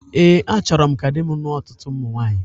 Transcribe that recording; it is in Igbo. Ee, achọrọ m ka di m lụọ ọtụtụ ụmụ nwaanyị